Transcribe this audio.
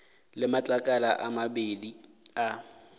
le matlakala a mabedi a